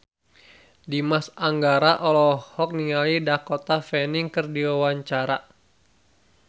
Dimas Anggara olohok ningali Dakota Fanning keur diwawancara